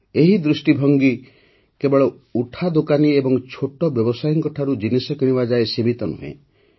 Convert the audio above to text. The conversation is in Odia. ଏହି ଦୃଷ୍ଟିଭଙ୍ଗୀ କେବଳ ଉଠାଦୋକାନୀ ଏବଂ ଛୋଟ ବ୍ୟବସାୟୀଙ୍କ ଠାରୁ ଜିନିଷ କିଣିବା ଯାଏଁ ସୀମିତ ନୁହେଁ